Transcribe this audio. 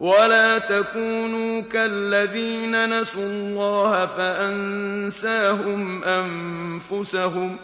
وَلَا تَكُونُوا كَالَّذِينَ نَسُوا اللَّهَ فَأَنسَاهُمْ أَنفُسَهُمْ ۚ